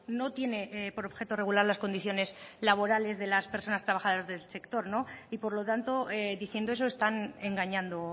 no tiene por objeto regular las condiciones laborales de las personas trabajadoras del sector y por lo tanto diciendo eso están engañando